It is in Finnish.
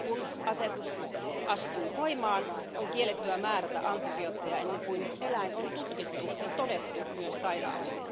Kun asetus astuu voimaan, on kiellettyä määrätä antibiootteja, ennen kuin eläin on tutkittu ja todettu myös sairaaksi.